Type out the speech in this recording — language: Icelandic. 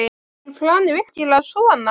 Var planið virkilega svona?